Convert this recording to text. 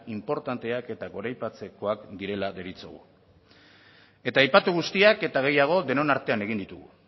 inportanteak eta goraipatzekoak direla deritzogu eta aipatu guztiak eta gehiago denon artean egin ditugu